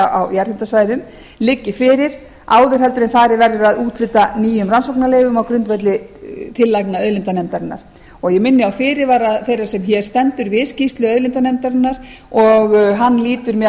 umhverfisáhrifa á jarðhitasvæðum liggi fyrir áður en farið verður að úthluta nýjum rannsóknarleyfum á grundvelli tillagna auðlindanefndarinnar ég minni á fyrirvara þeirrar sem hér stendur við skýrslu auðlindanefndarinnar og hann lýtur meðal